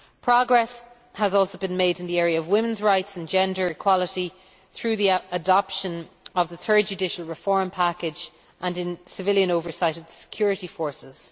Progress has also been made in the area of women's rights and gender equality, through the adoption of the third judicial reform package, and in civilian oversight of the security forces.